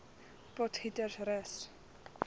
potgietersrus